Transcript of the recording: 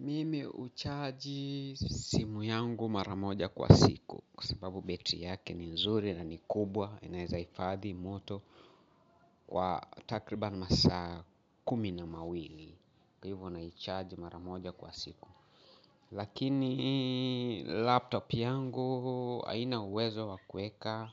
Mimi huchaji simu yangu mara moja kwa siku kwa sababu battery yake ni nzuri na ni kubwa inaeza hifadhi moto kwa takriban masaa kumi na mawili kwa hivyo naicharge mara moja kwa siku lakini laptop yangu haina uwezo wa kueka